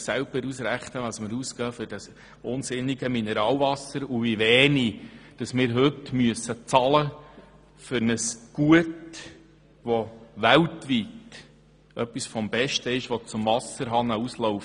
Sie können sich selber ausrechnen, wie viel Geld wir für das unsinnige Mineralwasser ausgeben und wie wenig wir heute für ein Gut bezahlen müssen, das weltweit etwas vom Besten ist, das aus dem Wasserhahn läuft.